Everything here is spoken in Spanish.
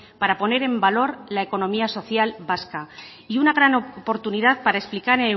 para poner en valor la economía social vasca y una gran oportunidad para explicar